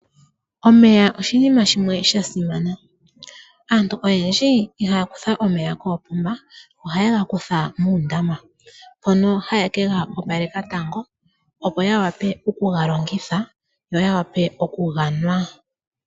Omeya oshinima shimwe shasimana. Aantu oyendji oyeli haya kutha omeya koopomba, ohayega kutha muundama, mpono haye kega opaleka tango opo yawape okugalongitha yo yawape okuga nwa.